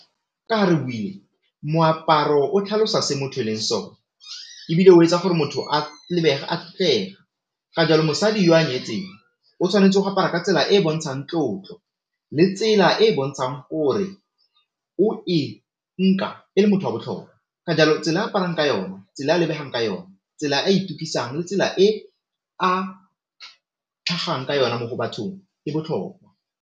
moaparo o tlhalosa se motho e leng sone ebile o etsa gore motho a lebege a tlotlega, ka jalo mosadi yo a nyetseng o tshwanetse go apara ka tsela e bontshang tlotlo le tsela e bontshang gore le motho wa botlhokwa ka jalo tsela aparang ka yone, tsela a lebegang ka yone, tsela a tsela e a ka yona mo bathong e botlhokwa.